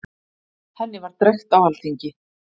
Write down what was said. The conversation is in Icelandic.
Henni var drekkt á alþingi.